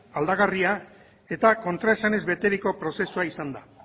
aldagarria eta kontraesanez beteriko prozesua izan da